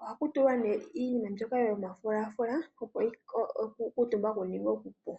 Ohaku tulwa nduno iinima mbyoka yomafulafula, opo okukuutumba ku ninge okupu.